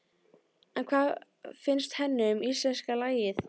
En hvað finnst henni um íslenska lagið?